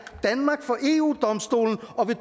danmark for eu domstolen og vil